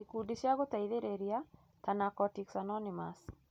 Ikundi cia gũteithĩrĩria ta Narcotics Anonymous